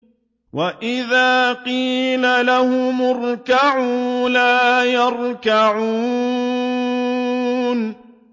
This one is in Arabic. وَإِذَا قِيلَ لَهُمُ ارْكَعُوا لَا يَرْكَعُونَ